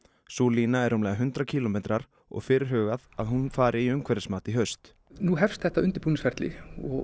sú lína er rúmlega hundrað kílómetrar og fyrirhugað að hún fari í umhverfismat í haust nú hefst þetta undirbúningsferli